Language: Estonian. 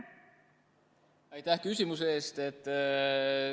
Aitäh küsimuse eest!